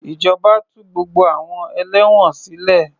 Ìjọba tú gbogbo àwọn ẹlẹ́wọ̀n sile